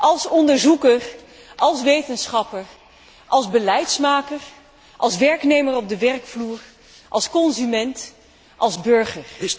Als onderzoeker, als wetenschapper, als beleidsmaker, als werknemer op de werkvloer, als consument, als burger.